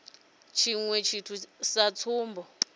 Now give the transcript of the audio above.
ha tshiṅwe tshithu sa tsumbo